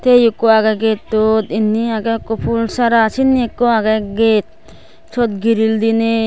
tiye ekko agay gettot indi agay ekko full sara sindi agay ekko gate syot giril diney.